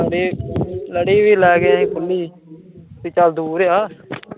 ਲੜੀ, ਲੜੀ ਵੀ ਲੈ ਕੇ ਆਈਂ ਖੁੱਲੀ, ਕੀ ਚਲ ਦੂਰ ਏ ਆ